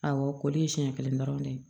Awɔ ko de ye siɲɛ kelen dɔrɔn de ye